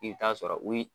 I bɛ taa sɔrɔ u